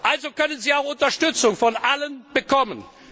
Also können Sie auch Unterstützung von allen bekommen.